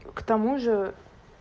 к тому же